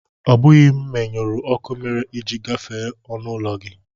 Ọ bụghị m menyụrụ ọkụ mere i ji gafee ọnụụlọ gị